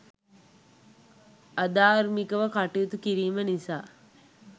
අධාර්මිකව කටයුතු කිරීම නිසා